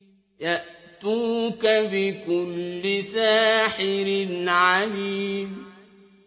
يَأْتُوكَ بِكُلِّ سَاحِرٍ عَلِيمٍ